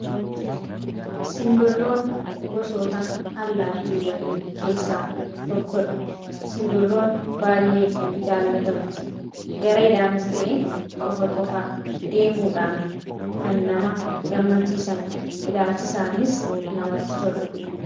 simbirroon gosoota allaatiiwwanii keessaa tokkodha simbirroon baay'ee jaallatamti gareedhaanistee qofa qofa deemuudhaan kan nama gammachiisan ilaalchisaaniis namatti tolu